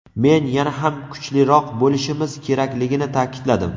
men yana ham kuchliroq bo‘lishimiz kerakligini ta’kidladim.